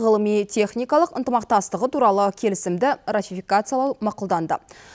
ғылыми техникалық ынтымақтастығы туралы келісімді ратификациялау мақұлданды